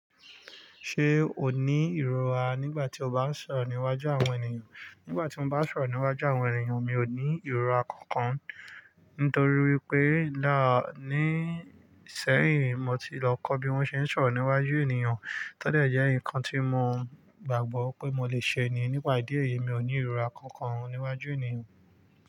Ṣé o ní ìrora nígbà tí o bá ń sọ̀rọ̀ níwájú àwọn ènìyàn? Nígbà tí mo bá ń sọ̀rọ̀ níwájú àwọn ènìyàn, mi ò ní ìrora kankan. Nítorí wípé láà ní ṣẹ́yìn, mo ti lọ kọ́ bí wón ṣe ń sọ̀rọ̀ níwájú ènìyàn. Tódẹ̀ jẹ́ ǹnkan tí mo gbàgbọ́ pé mo lè ṣe ni. Nípa ìdí èyí, mi ò ní ìrora kankan níwájú ènìyàn.